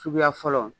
Suguya fɔlɔ